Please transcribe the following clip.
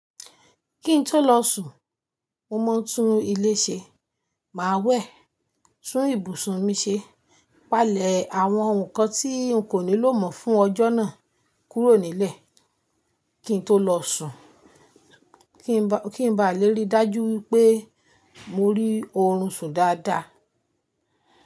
Kí n tó lọ sùn, mo máa ń tún ilé ṣe, màá wẹ̀, tún ibùsùn mi ṣe, palẹ̀ àwọn ǹkan tí n kò nílò mọ́ fún ọjọ́ náà kúrò nílẹ̀ kí n tó lọ sùn kí ń ba lè rí dájú wípé mo rí oorun sùn dáadáa.